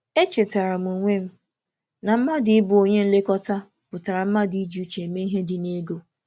Echetara m onwe m na ịbụ onye na-elekọta ihe pụtara ịna-eji ego nwayọọ na n’ezi uche.